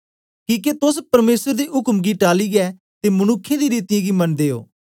किके तोस परमेसर दे उक्म गी टालियै ते मनुक्खें दी रीतियें गी मनदे ओ